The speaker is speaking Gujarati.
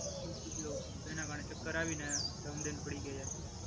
શું પેલો તેના માટે ચક્કર આવીને ધડામ દહીં દહીં પડી ગયા હતા.